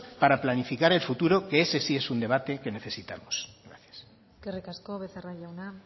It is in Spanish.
para planificar que el futuro que ese sí es un debate que necesitamos gracias eskerrik asko becerra jauna